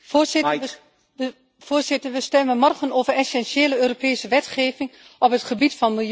Voorzitter, we stemmen morgen over essentiële Europese wetgeving op het gebied van milieu en interne markt.